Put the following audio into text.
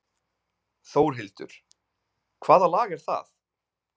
Þórhildur: Hvaða lag er það?